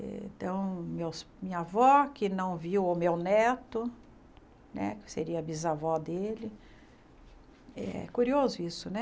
Então, meus minha avó, que não viu o meu neto, né que seria bisavó dele, é curioso isso, né?